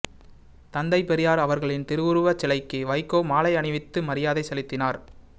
தந்தை பெரியார் அவர்களின் திருவுருவச் சிலைக்கு வைகோ மாலை அணிவித்து மரியாதை செலுத்தினார்